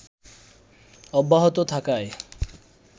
অব্যাহত থাকায়